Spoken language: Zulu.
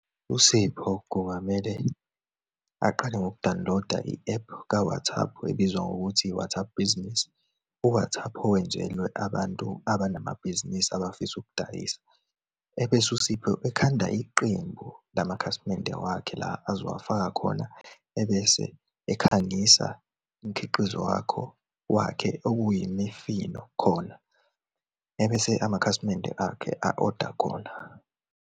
USipho kungamele aqale ngokudawuniloda i-ephu ka-WhatsApp, ebizwa ngokuthi i-WhatsApp Business, u-WhatsApp owenzelwe abantu abanamabhizinisi abafisa ukudayisa. Ebese uSipho ekhanda iqembu lamakhasimende wakhe la azowfaaka khona, ebese ekhangisa imikhiqizo wakho, wakhe okuyimifino khona, ebese amakhasimende akhe a-oda khona.